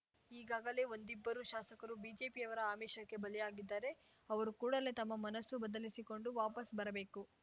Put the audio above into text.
ಈಗಾಗಲೇ ಒಂದಿಬ್ಬರು ಶಾಸಕರು ಬಿಜೆಪಿಯವರ ಆಮಿಷಕ್ಕೆ ಬಲಿಯಾಗಿದ್ದಾರೆ ಅವರು ಕೂಡಲೇ ತಮ್ಮ ಮನಸ್ಸು ಬದಲಿಸಿಕೊಂಡು ವಾಪಸ್‌ ಬರಬೇಕು